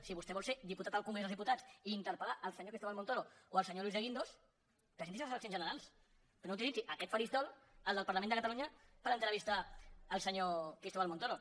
si vostè vol ser diputat al congrés dels diputats i interpelsenyor cristóbal montoro o el senyor luis de guindos presenti’s a les eleccions generals però no utilitzi aquest faristol el del parlament de catalunya per entrevistar el senyor cristóbal montoro